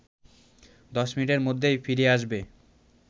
১০ মিনিটের মধ্যেই ফিরে আসবে